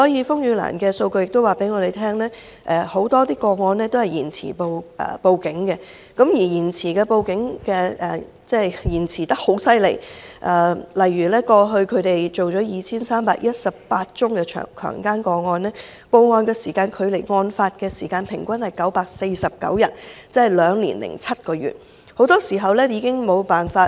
風雨蘭的數據亦告訴我們，很多個案屬於延遲報案，而延遲報案的情況非常嚴重，例如他們過去處理了 2,318 宗的強姦個案，報案時間距離案發時間平均是949天，即兩年零七個月，很多時候法醫已無法取證。